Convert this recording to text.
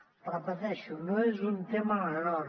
ho repeteixo no és un tema menor